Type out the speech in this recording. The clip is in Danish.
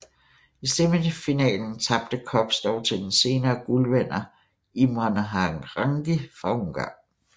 I semifinalen tabte Kops dog til den senere guldvinder Imre Harangi fra Ungarn